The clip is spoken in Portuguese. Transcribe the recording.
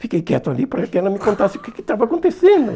Fiquei quieto ali para que ela me contasse o que que estava acontecendo.